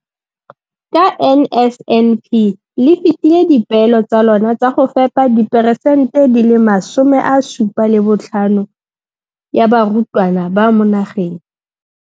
Ka NSNP le fetile dipeelo tsa lona tsa go fepa diperesente 75 ya barutwana ba mo nageng.